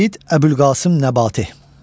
Seyid Əbülqasım Nəbati.